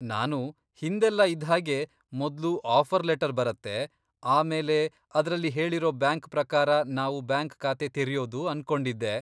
ನಾನು ಹಿಂದೆಲ್ಲ ಇದ್ಹಾಗೆ ಮೊದ್ಲು ಆಫರ್ ಲೆಟರ್ ಬರತ್ತೆ, ಆಮೇಲೆ ಅದ್ರಲ್ಲಿ ಹೇಳೀರೋ ಬ್ಯಾಂಕ್ ಪ್ರಕಾರ ನಾವು ಬ್ಯಾಂಕ್ ಖಾತೆ ತೆರೆಯೋದು ಅನ್ಕೊಂಡಿದ್ದೆ.